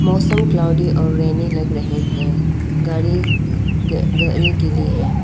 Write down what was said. मौसम क्लॉउडी और रेनी लग रहे हैं गाड़ी गाड़ी गिली है।